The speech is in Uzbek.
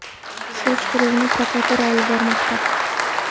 Surishtiruvni prokuratura olib bormoqda.